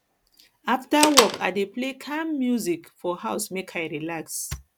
afta work i dey play calm music for house make i relax i relax